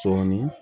Sɔɔni